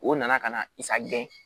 O nana ka na i sagon